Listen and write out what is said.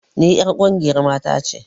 Ni 'yar ƙungiyar mata ce